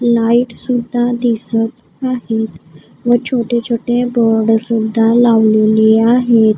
Light सुद्धा दिसत आहेत व छोटे छोटे बोर्ड सुद्धा लावलेले आहेत.